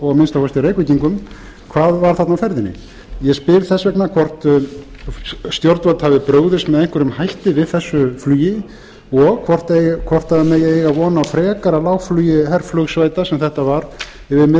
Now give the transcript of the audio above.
að minnsta kosti reykvíkingum hvað var þarna á ferðinni ég spyr þess vegna hvort stjórnvöld hafi brugðist með einhverjum hætti við þessu flugi og hvort það muni eiga von á frekara lágflugi herflugsveita sem þetta var yfir miðborg